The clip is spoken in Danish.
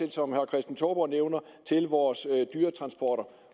og som herre kristen touborg nævner af vores dyretransporter